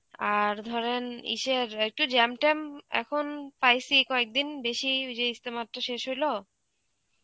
আর ধরেন ইসের একটু jam ট্যাম এখন পাইছি কয়েকদিন বেশি যে ইস্তেমাতটা শেষ হইল.